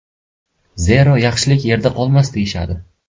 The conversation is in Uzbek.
Zero, yaxshilik yerda qolmas, deyishadi.